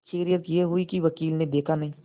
खैरियत यह हुई कि वकील ने देखा नहीं